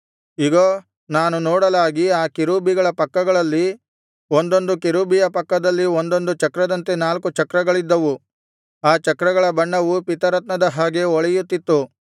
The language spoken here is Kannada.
ಇಗೋ ನಾನು ನೋಡಲಾಗಿ ಆ ಕೆರೂಬಿಗಳ ಪಕ್ಕಗಳಲ್ಲಿ ಒಂದೊಂದು ಕೆರೂಬಿಯ ಪಕ್ಕದಲ್ಲಿ ಒಂದೊಂದು ಚಕ್ರದಂತೆ ನಾಲ್ಕು ಚಕ್ರಗಳಿದ್ದವು ಆ ಚಕ್ರಗಳ ಬಣ್ಣವು ಪೀತರತ್ನದ ಹಾಗೆ ಹೊಳೆಯುತ್ತಿತ್ತು